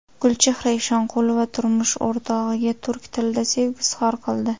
Gulchehra Eshonqulova turmush o‘rtog‘iga turk tilida sevgi izhor qildi.